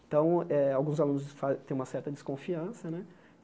Então, eh alguns alunos fa têm uma certa desconfiança né.